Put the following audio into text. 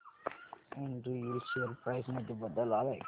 Andrew Yule share price मध्ये बदल आलाय का